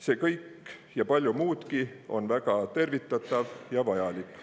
See kõik ja palju muudki on väga tervitatav ja vajalik.